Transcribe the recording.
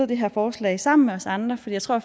det her forslag sammen med os andre for jeg tror